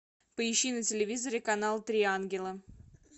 поищи на телевизоре канал три ангела